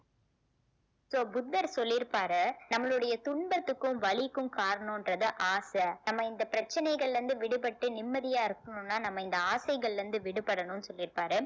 so புத்தர் சொல்லி இருப்பாரு நம்மளுடைய துன்பத்துக்கும் வலிக்கும் காரணன்றது ஆசை நம்ம இந்த பிரச்சனைகள்ல இருந்து விடுபட்டு நிம்மதியா இருக்கனும்னா நம்ம இந்த ஆசைகள்ல இருந்து விடுபடணும்னு சொல்லிருப்பாரு